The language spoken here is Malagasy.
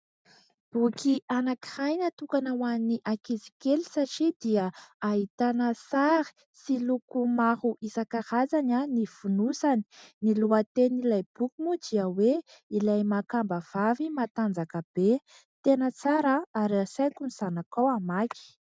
Boky anankiray natokana ho an'ny ankizy kely satria dia ahitana sary sy loko maro isan-karazany ny fonosany. Ny lohatenin'ilay boky moa dia hoe "Ilay makamba vavy matanjaka be". Tena tsara ary asaiko ny zanakao hamaky.